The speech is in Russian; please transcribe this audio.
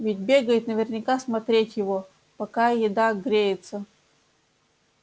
ведь бегает наверняка смотреть его пока еда греется